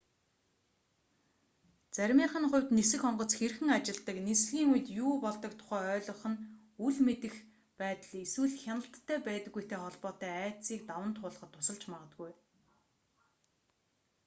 заримынх нь хувьд нисэх онгоц хэрхэн ажилладаг нислэгийн үед юу болдог тухай ойлгох нь үл мэдэх байдал эсвэл хяналттай байдаггүйтэй холбоотой айдсыг даван туулахад тусалж магадгүй